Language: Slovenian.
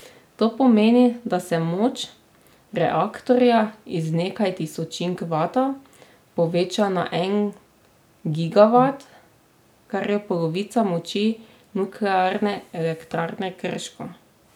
To pomeni, da se moč reaktorja iz nekaj tisočink vata poveča na en gigavat, kar je polovica moči Nuklearne elektrarne Krško.